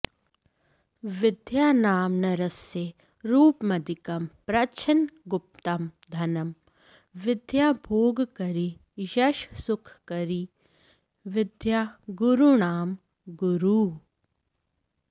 विद्या नाम नरस्य रूपमधिकं प्रच्छन्नगुप्तं धनं विद्या भोगकरी यशस्सुखकरी विद्या गुरूणां गुरुः